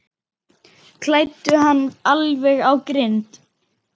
Kældu hann alveg á grind.